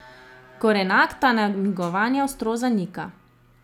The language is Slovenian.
Gorenak ta namigovanja ostro zanika.